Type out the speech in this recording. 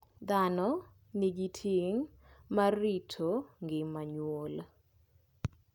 Dhano nigi ting' mar rito ngima nyuol.